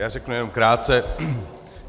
Já řeknu jenom krátce.